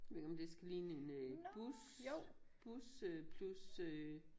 Ved ikke om det skal ligne en øh bus bus øh plus øh